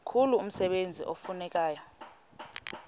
mkhulu umsebenzi ekufuneka